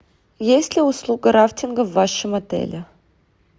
есть ли услуга рафтинга в вашем отеле